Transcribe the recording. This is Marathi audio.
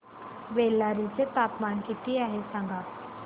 बेल्लारी चे तापमान किती आहे सांगा